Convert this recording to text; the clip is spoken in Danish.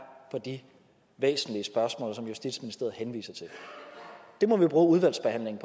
på de væsentlige spørgsmål som justitsministeriet henviser til det må vi bruge udvalgsbehandlingen